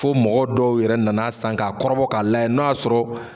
Fo mɔgɔ dɔw yɛrɛ nana san k'a kɔrɔ ka lajɛ n'a y'a sɔrɔ